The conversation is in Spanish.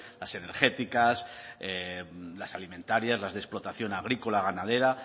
industriales las energéticas las alimentarias las de explotación agrícola